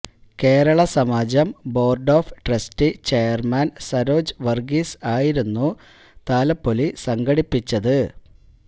Kerala Samajam board of trustee chairman Saroj Varghese ആയിരുന്നു താലപപൊലി സംഘടിപ്പിച്ചത്